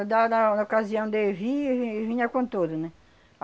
Dá, dava na ocasião de vir, ele vinha com tudo, né?